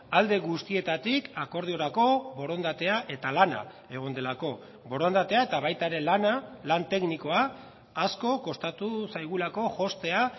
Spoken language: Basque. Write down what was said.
alde guztietatik akordiorako borondatea eta lana egon delako borondatea eta baita ere lana lan teknikoa asko kostatu zaigulako jostea